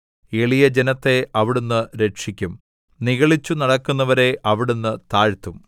എളിയജനത്തെ അവിടുന്ന് രക്ഷിക്കും നിഗളിച്ചു നടക്കുന്നവരെ അവിടുന്ന് താഴ്ത്തും